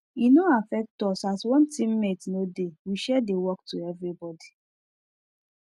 e no affect us as one teammate no dey we share the work to everybody